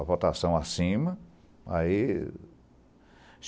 a votação acima. Aí